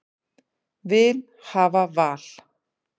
Vil hafa val